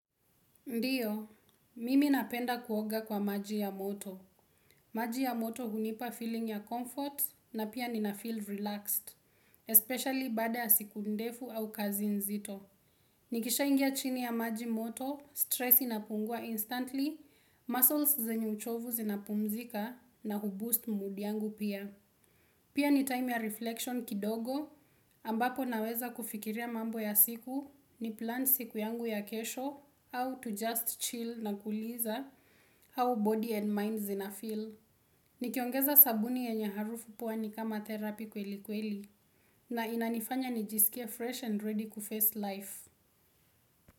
Ndiyo, mimi napenda kuoga kwa maji ya moto. Maji ya moto hunipa feeling ya comfort na pia ninafeel relaxed, especially bada ya siku ndefu au kazi nzito. Nikisha ingia chini ya maji moto, stress inapungua instantly, muscles zenyu uchovu zinapumzika na huboost mood yangu pia. Pia ni time ya reflection kidogo ambapo naweza kufikiria mambo ya siku ni plan siku yangu ya kesho, how to just chill na kuliza, how body and mind zinafeel. Nikiongeza sabuni yenye harufu puwa ni kama therapy kweli kweli na inanifanya nijisikia fresh and ready kuface life.